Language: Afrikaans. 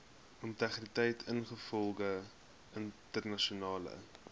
integriteit ingevolge internasionale